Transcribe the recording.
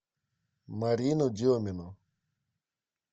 марину демину